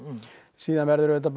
síðan verður auðvitað